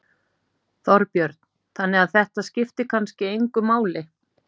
Þorbjörn: Þannig að þetta skiptir kannski engu máli?